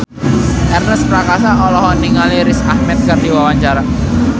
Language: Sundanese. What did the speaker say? Ernest Prakasa olohok ningali Riz Ahmed keur diwawancara